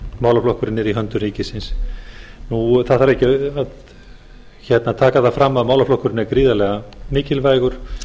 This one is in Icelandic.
málaflokkurinn er í höndum ríkisins það þarf ekki að taka það fram að málaflokkurinn er gríðarlega mikilvægur